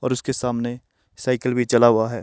और उसके सामने साइकल भी चला हुआ है।